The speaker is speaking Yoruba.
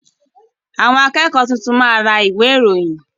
Àwọn akẹ́kọ̀ọ́ tuntun máa ra ìwé ìròyìn.